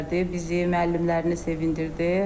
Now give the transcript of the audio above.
Bizi müəllimlərini sevindirdi.